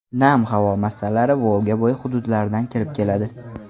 Nam havo massalari Volga bo‘yi hududlaridan kirib keladi.